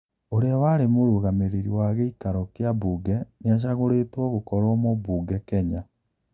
ũria wari mũrũgamiriri wa giikaro kia buge niashagũritwo gũkorwo mũbuge Kenya.